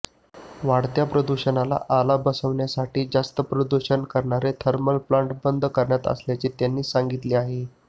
वाढत्या प्रदुषणाला आला बसविण्यासाठी जास्त प्रदूषण करणारे थर्मल प्लांट बंद करणार असल्याचे त्यांनी सांगितले आहे